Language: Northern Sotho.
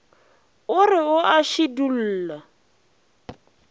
a re o a šidulla